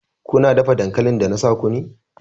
Kuna dafa dankalin da na sa ku ne!